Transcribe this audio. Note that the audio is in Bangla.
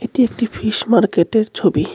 এটি একটি ফিস মার্কেটের ছবি .